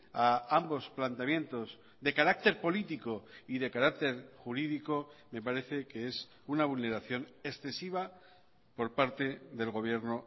a ambos planteamientos de carácter político y de carácter jurídico me parece que es una vulneración excesiva por parte del gobierno